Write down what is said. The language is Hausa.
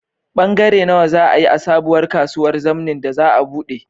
Bangare nawa za a yi a sabuwar kasuwar zamnin da za a buɗe?